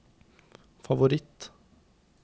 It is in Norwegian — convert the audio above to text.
favoritt